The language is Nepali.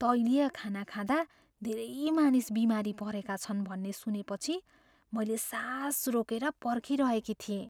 तैलीय खाना खाँदा धेरै मानिस बिमारी परेका छन् भन्ने सुनेपछि मैले सास रोकेर पर्खिरहेकी थिएँ।